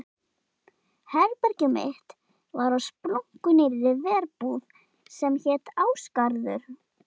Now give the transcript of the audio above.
Herbergið mitt var á splunkunýrri verbúð sem hét Ásgarður.